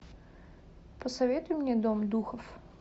посоветуй мне дом духов